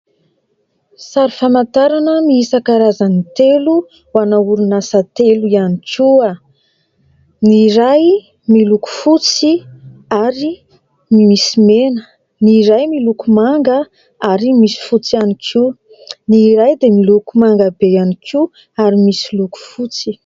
Sary famantarana miisa karazany telo ho ana Orinasa telo ihany koa, ny iray miloko fotsy ary misy mena; ny iray miloko manga ary misy fotsy ihany koa; ny iray dia miloko manga be ihany koa ary misy loko fotsy.